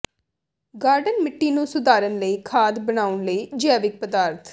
garden ਮਿੱਟੀ ਨੂੰ ਸੁਧਾਰਨ ਲਈ ਖਾਦ ਬਣਾਉਣ ਲਈ ਜੈਵਿਕ ਪਦਾਰਥ